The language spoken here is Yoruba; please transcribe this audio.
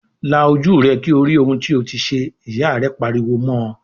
"La ojú rẹ kí o rí ohun tí o ti ṣe!" Ìyá rẹ̀ pariwo mọ́ ọ